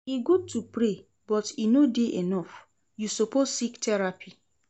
E good to pray but e no dey enough, you suppose seek therapy.